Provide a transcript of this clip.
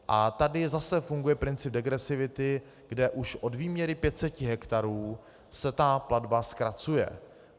A tady zase funguje princip degresivity, kde už od výměry 500 hektarů se ta platba zkracuje.